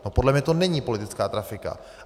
No, podle mě to není politická trafika.